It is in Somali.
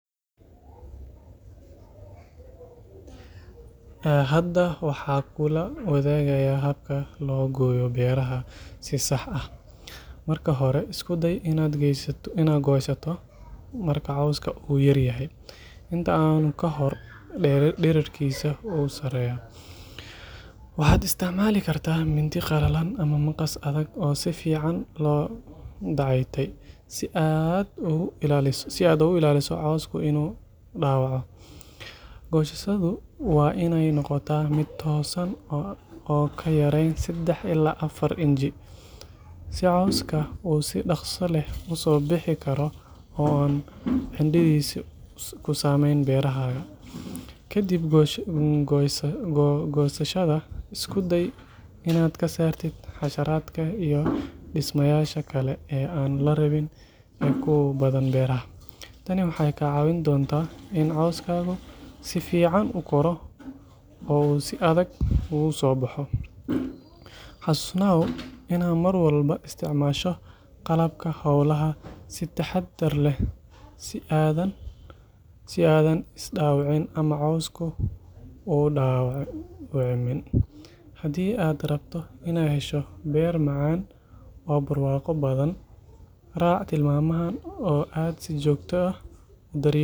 Hadda waxaan kula wadaagayaa habka lagu gooyo beerahaaga si sax ah. Marka hore, isku day inaad goysato marka cawska ugu yar yahay, inta aanu ka korin dhererkiisa ugu sarreeya. Waxaad isticmaali kartaa mindi qalalan ama maqas adag oo si fiican loo dayactay si aad uga ilaaliso cawska inuu dhaawaco. Goysashadu waa inay noqotaa mid toosan oo aan ka yarayn saddex ilaa afar inji, si cawska uu si dhakhso leh u soo bixi karo oo aanu cidhiidhi ku samayn beerahaaga. Ka dib goysashada, isku day inaad ka saartid xasharaadka iyo dhismayaasha kale ee aan la rabin ee ku badan beeraha. Tani waxay ka caawin doontaa in cawskaagu si fiican uu u koro oo uu si adag ugu soo baxo. Xusuusnow inaad mar walba isticmaasho qalabka howlaha si taxadar leh si aadan is dhaawicin ama cawska u dhaawicin. Hadii aad rabto inaad hesho beer macaan oo barwaaqo badan, raac tilmaamahan oo aad si joogto ah u daryeelid beerahaaga.